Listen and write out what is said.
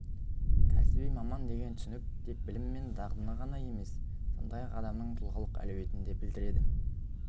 кәсіби маман деген түсінік тек білім мен дағдыны емес сондай-ақ адамның тұлғалық әлеуетін де білдіреді